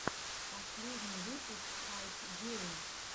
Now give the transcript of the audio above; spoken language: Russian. последний выпуск хайпгейм